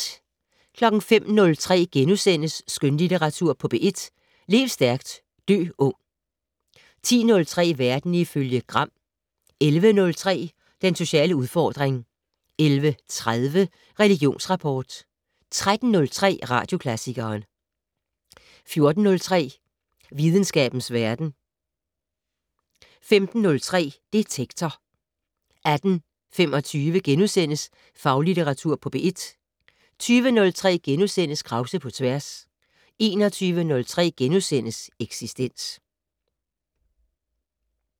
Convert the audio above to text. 05:03: Skønlitteratur på P1 - Lev stærkt, dø ung * 10:03: Verden ifølge Gram 11:03: Den sociale udfordring 11:30: Religionsrapport 13:03: Radioklassikeren 14:03: Videnskabens Verden 15:03: Detektor 18:25: Faglitteratur på P1 * 20:03: Krause på tværs * 21:03: Eksistens *